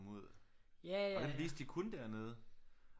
Ud og den viste de kun dernede